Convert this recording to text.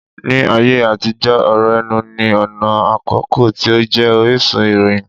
Ní ayé àtijó, ọ̀rọ̀ ẹnu ní ọ̀nà àkọ́kọ́ tí ó jẹ́ orísun ìròyìn